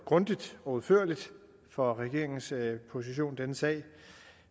grundigt og udførligt for regeringens position i denne sag